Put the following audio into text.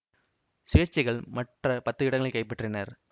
சுயேட்சைகள் மற்ற பத்து இடங்களை கைப்பற்றினர்